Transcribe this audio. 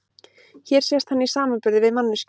Hér sést hann í samanburði við manneskju.